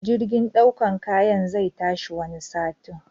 Jirgin ɗaukan kayan zai tashi wani satin.